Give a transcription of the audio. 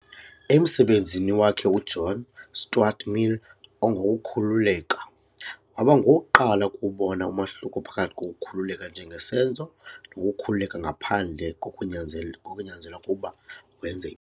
Emsebenzini wakhe, UJohn Stuart Mill, "ongokukhululeka", waba ngowokuqala ukuwubona umahluko phakathi kokukhululeka njengesenzo nokukhululeka ngaphandle, kokunyanzela kokunyanzelwa ukuba wenze.